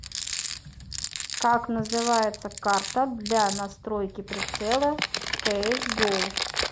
как называется карта для настройки прицела в кс го